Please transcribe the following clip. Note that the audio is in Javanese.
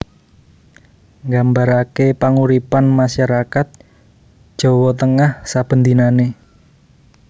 Nggambarake panguripan masyarakat Jawa Tengah saben dinanè